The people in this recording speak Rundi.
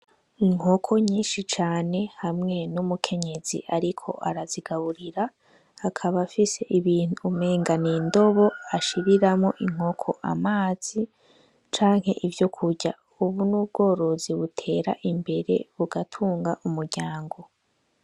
Inkoko nyinshi cane hamwe n'umukenyezi ariko arazigaburira, akaba afise ibintu umenga n'indobo ashiriramwo inkoko amazi canke ivyokurya, ubu n'ubworozi butera imbere bugatunga umuryango.